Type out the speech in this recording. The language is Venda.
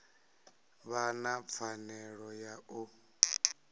vha na pfanelo ya u